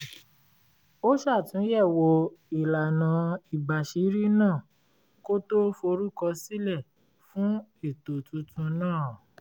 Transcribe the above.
ó ṣàtúnyẹ̀wò ìlànà ìbàṣírí náà kó tó forúkọ sílẹ́ fún ètò tuntun náà